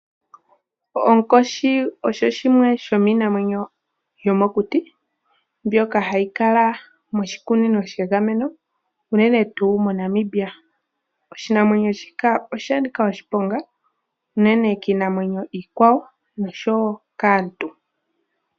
Onkoshi osho shimwe shomiinamwenyo yomokuti mbyoka hayi kala moshikunino shegameno, unene tuu moNamibia. Oshinamwenyo shika osha nika oshiponga unene kiinamwenyo iikwawo noshowo kaantu.